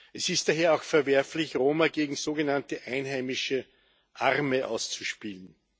Es ist daher auch verwerflich, Roma gegen sogenannte einheimische Arme auszuspielen.